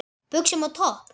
Buxum og topp?